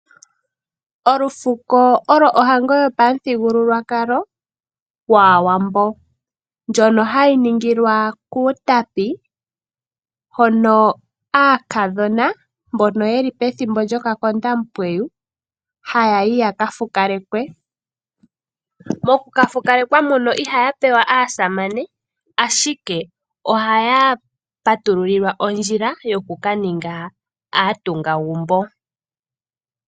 Olufuko oyo ohango yopamuthigululwakalo yAawambo ndjono hayi ningilwa kUutapi hono aakadhona mbono yeli pethimbo lyokakondampweyu haya yi yaka fukalekwe. Mokukafukalekwa muno ihaya pewa aasamane, ashike ohaya patululilwa ondjila yoku ka ninga aatungagumbo.